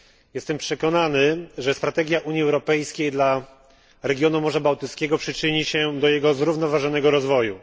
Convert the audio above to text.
Jestem przekonany, że strategia Unii Europejskiej dla regionu Morza Bałtyckiego przyczyni się do jego zrównoważonego rozwoju.